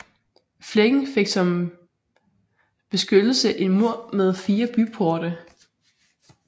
Flækken fik som beskyttelse en mur med fire byporte